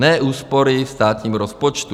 Ne úspory v státním rozpočtu.